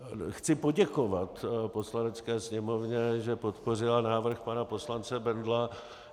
Chci poděkovat Poslanecké sněmovně, že podpořila návrh pana poslance Bendla.